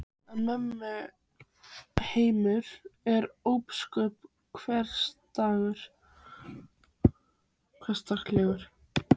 En mömmu heimur var ósköp hversdagslegur.